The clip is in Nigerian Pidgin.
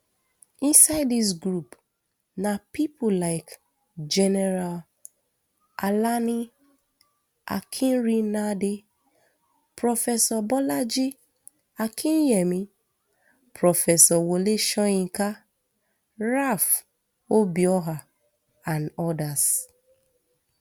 inside dis group na pipo like general alani akinrinade professor bolaji akinyemi professor wole soyinka ralph obioha and odas